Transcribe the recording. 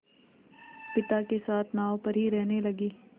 पिता के साथ नाव पर ही रहने लगी